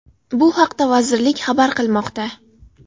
Bu haqda vazirlik xabar qilmoqda .